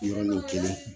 Yɔrɔnin kelen